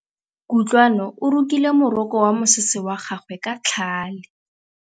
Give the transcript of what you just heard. Kutlwanô o rokile morokô wa mosese wa gagwe ka tlhale.